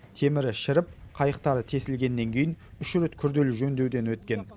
темірі шіріп қайықтары тесілгеннен кейін үш рет күрделі жөндеуден өткен